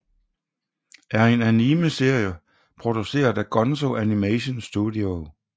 er en anime serie produceret af GONZO animation studio